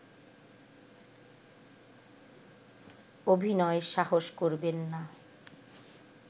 অভিনয়ের সাহস করবেন না